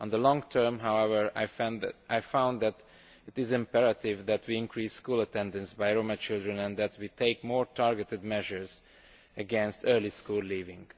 In the long term, however, I found that it is imperative that we increase school attendance by Roma children and that we take more targeted measures against early school leaving.